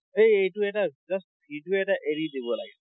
এই এইটো এটা just video এটা এৰি দিব লাগে।